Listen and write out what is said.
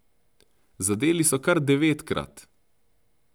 Zadeli so kar devetkrat.